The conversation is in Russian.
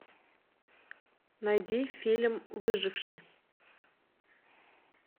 найди фильм выживший